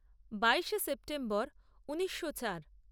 বাইশে সেপ্টেম্বর ঊনিশো চার